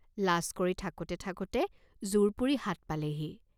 লাজ কৰি থাঁকোতে থাঁকোতে জোৰ পুৰি হাত পালেহি।